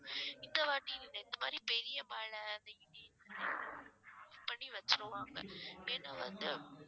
இந்த வாட்டி இந்த இந்த மாதிரி பெரிய மழை பண்ணி வச்சிருவாங்க ஏன்னா வந்து